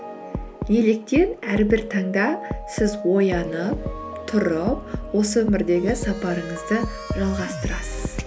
неліктен әрбір таңда сіз оянып тұрып осы өмірдегі сапарыңызды жалғастырасыз